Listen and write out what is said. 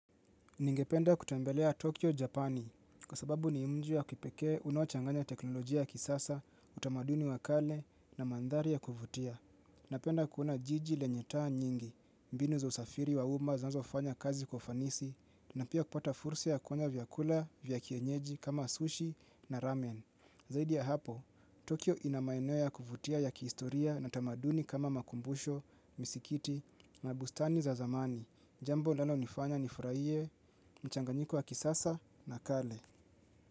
Ningependa kutembelea Tokyo, Japani, kwa sababu ni mjiwa kipekee unaochanganya teknolojia ya kisasa, utamaduni wakale na mandhari ya kuvutia. Napenda kuona jiji lenye taa nyingi, mbinu za usafiri wa uma zinazo fanya kazi kwa ufanisi, na pia kupata fursa ya kufanya vyakula, vyakienyeji, kama sushi na ramen. Zaidi ya hapo, Tokyo ina maeneo ya kuvutia ya kihistoria na tamaduni kama makumbusho, misikiti na bustani za zamani. Jambo linalo nifanya ni furahie, mchanganyiko wa kisasa na kale.